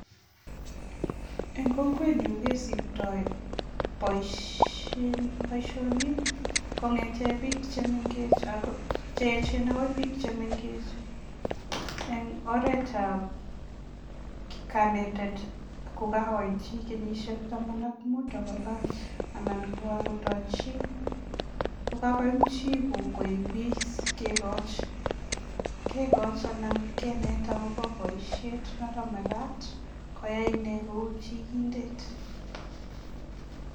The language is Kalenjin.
Eng kokwet nyu kesiptoi boisien, boisionik kong'ete biik che mengech ak cheechen agoi bik chemengech eng oretab kanetet ko kagoit chi kenyisiek taman ak mut agolany anan ko kagotoi chi, ko kagoyam chi koibois kegoch, kegoch anan keneta agobo boisit noto megat koyai ine kou chigindet.